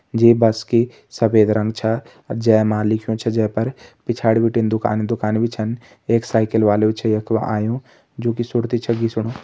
ये बस के सफ़ेद रंग छ जै मा लिख्युं छ जै पर पिछाड़ी बिटिन दुकानि दुकानि भी छन। एक साइकिल वालू भी छ यख आयुं जो की सुरति छ घिसणु।